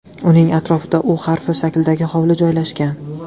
Uning ortida U harfi shaklidagi hovli joylashgan.